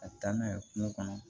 Ka taa n'a ye kungo kɔnɔ